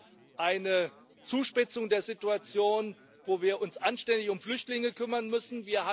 Wir haben eine Zuspitzung der Situation, wo wir uns anständig um Flüchtlinge kümmern müssen.